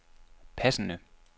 passende